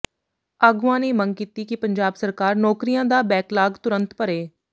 ਆਗੂਆਂ ਨੇ ਮੰਗ ਕੀਤੀ ਕਿ ਪੰਜਾਬ ਸਰਕਾਰ ਨੌਕਰੀਆਂ ਦਾ ਬੈਕਲਾਗ ਤੁਰੰਤ ਭਰੇ